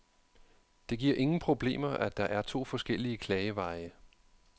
Det giver ingen problemer, at der er to forskellige klageveje.